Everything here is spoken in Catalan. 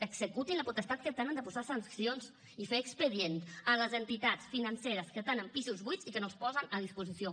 executin la potestat que tenen de posar sancions i fer expedients a les entitats financeres que tenen pisos buits i que no els posen a disposició